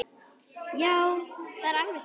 Já, það er alveg satt.